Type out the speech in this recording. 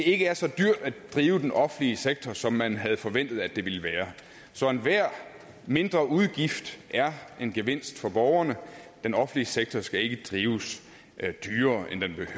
ikke er så dyrt at drive den offentlige sektor som man havde forventet at det ville være så enhver mindreudgift er en gevinst for borgerne den offentlige sektor skal ikke drives dyrere